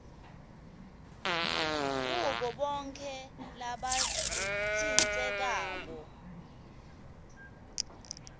kubo bonkhe labatsintsekako